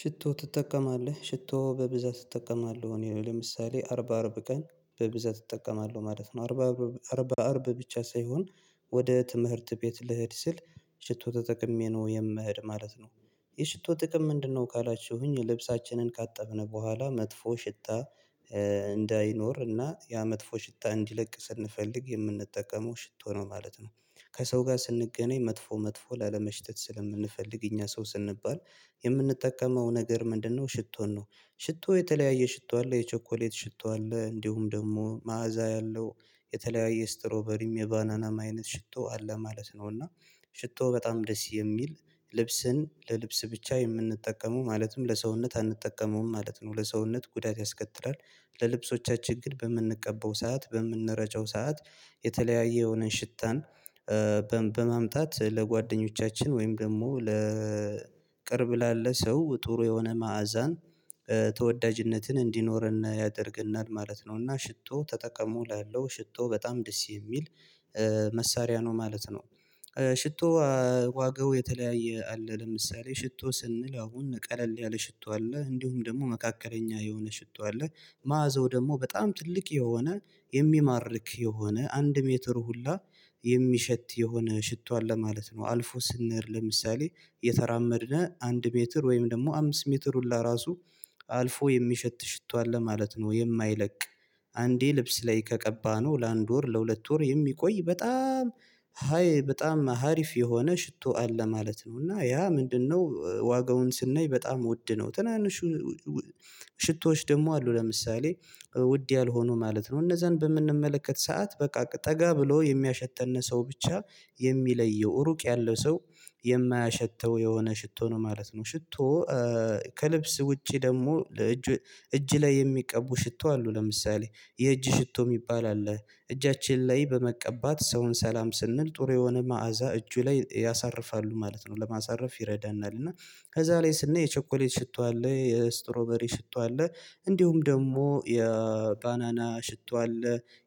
ሽቶ ትጠቀማለህ ሽቶው በብዛት ትጠቀማለህ? እኔ ለምሳሌ አርብ አርብ ቀን በብዛት እጠቀማለሁ ማለት ነው። አርብ አርብ ብቻ ሳይሆን ወደ ትምህርት ቤት ልሄድ ስል ሽቶ ተጠቅሜ ነው የምሄድ ማለት ነው። የሽቶ ጥቅም ምንድነው? ካላችሁኝ ልብሳችንን ካጠብነው በኋላ መጥፎ ሽታ እንዳይኖር እና ያ መጥፎ ሽታ እንዲለቅ ስንፈልግ የምንጠቀመው ሽቶ ነው ማለት ነው። ከሰው ጋር ስንገናኝ መጥፎ መጥፎ ላለመሽተት ስለምንፈልግ እኛ ሰው ስንባል የምንጠቀመው ነገር ምንድነው ሽቶን ነው። ሽቶ የተለያየ ሽቶ አለ የቸኮሌት ሽቶ አለ እንዲሁም ደግሞ መዓዛ ያለው የተለያየ ስትሮበሪም የባናናም አይነት ሽቶ አለ ማለት ነው። እና ሽቶ በጣም ደስ የሚል ልብስን ለልብስ ብቻ የምንጠቀመው ማለትም ለሰውነት አንጠቀመውም ማለት ነው ለሰውነት ጉዳት ያስከትላል። ለልብሶቻችን ግን በምንቀበው ሰዓት በምንረጨው ሰዓት የተለያየ የሆነን ሽታን በማምጣት ለጓደኞቻችን ወይም ደግሞ ለቅርብ ላለ ሰው ጥሩ የሆነ መዓዛን ተወዳጅነትን እንዲኖረን ያደርግናል ማለት ነው። እና ሽቶ ተጠቅሙ እላለሁ ሽቶ በጣም ደስ የሚል መሳሪያ ነው ማለት ነው። ሽቶ ዋጋው የተለያየ አለ ለምሳሌ ሽቶ ስንል አሁን ቀለል ያለ ሽቶ አለ እንዲሁም ደግሞ መካከለኛ የሆነ ሽቶ አለ። ማአዛው ደግሞ በጣም ትልቅ የሆነ የሚማርክ የሆነ አንድ ሜትር ሁላ የሚሸት የሆነ ሽቶ አለ ማለት ነው። አልፎ ስንሄድ ለምሳሌ እየተራመድነው አንድ ሜትር ወይም ደግሞ አምስት ሜትር ሁሉ ራሱ አልፎ የሚሸት ሽቶ አለ ማለት ነው። የማይለቅ አንዴ ልብስ ላይ ከቀባነው ለአንድ ወር ለሁለት ወር የሚቆይ በጣም ሃይ በጣም ሀሪፍ የሆነ ሽቶ አለ ማለት ነው። እና ያ ምንድነው ዋጋውን ስናይ በጣም ውድ ነው። ትናንሹ ሽቶዎች ደግሞ አሉ ለምሳሌ ውድ ያልሆኑ ማለት ነው እነዛን በምንመለከት ሰዓት በቃ ጠጋ ብሎ የሚያሸተን ሰው ብቻ የሚለየው ሩቅ ያለው ሰው የማያሸተው የሆነ ሽቶ ነው ማለት ነው። ሽቶ ከልብስ ውጪ ደግሞ ለእጅ እጅ ላይ የሚቀቡ ሽቶ አሉ ለምሳሌ የእጅ ሽቶ የሚባል አለ። እጃችን ላይ በመቀባት ሰውን ሰላም ስንል ጥሩ የሆነ መዓዛ እጁ ላይ ያሳርፋሉ ማለት ነው። ለማሳረፍ ይረዳናል እና ከዛ ላይ ስንል የቸኮሌት ሽቶ አለ የስትሮበሪ ሽቶ አለ እንዲሁም ደግሞ የባናና ሽቶ አለ